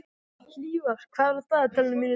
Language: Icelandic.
Hlífar, hvað er á dagatalinu mínu í dag?